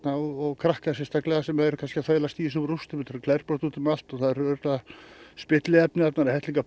og krakka sérstaklega sem eru kannski að þvælast í þessum rústum þetta eru glerbrot út um allt og það eru örugglega spilliefni það er hellingur